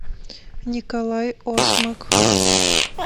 николай осмак